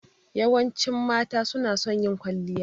Yawancin mata suna son yin kwalliya.